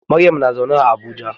Maryam na zaune a Abuja.